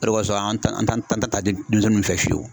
O de b'a sɔrɔ an ta an ta denmisɛnninw fɛ fiyewu.